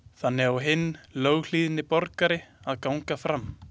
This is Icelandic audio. Þannig á hinn löghlýðni borgari að ganga fram.